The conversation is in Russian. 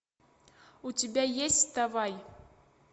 у тебя есть вставай